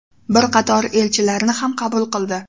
Bir qator elchilarni ham qabul qildi.